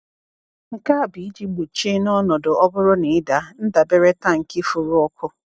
Nke a bụ iji gbochie, n’ọnọdụ ọ bụrụ na ị daa, ndabere tankị forọkụ.